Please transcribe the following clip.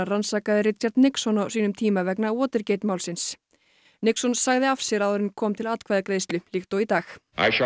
rannsakaði Richard Nixon á sínum tíma vegna málsins Nixon sagði af sér áður en kom til atkvæðagreiðslu líkt og í dag